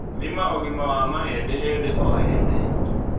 Thima ũgima wa mahĩndĩ hĩndĩ o hĩndĩ